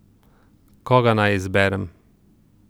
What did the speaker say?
Koga naj izberem?